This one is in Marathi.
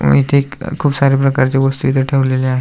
इथे खूप साऱ्या प्रकारच्या वस्तु इथ ठेवलेल्या आहे.